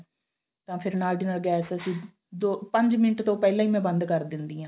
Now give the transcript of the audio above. ਤਾਂ ਫਿਰ ਨਾਲ ਦੀ ਨਾਲ gas ਅਸੀਂ ਦੋ ਪੰਜ ਮਿੰਟ ਤੋਂ ਪਹਿਲਾਂ ਹੀ ਮੈਂ ਬੰਦ ਕਰ ਦਿੰਦੀ ਆਂ